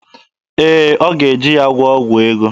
Ee, ọ ga-eji ya gwụọ ọgwụ ego.